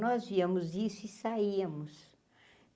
Nós víamos isso e saíamos.